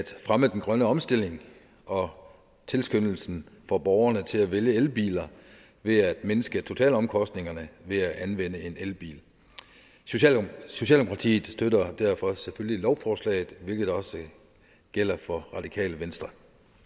fremme den grønne omstilling og tilskyndelsen for borgerne til at vælge elbiler ved at mindske totalomkostningerne ved at anvende en elbil socialdemokratiet støtter derfor selvfølgelig lovforslaget hvilket også gælder for radikale venstre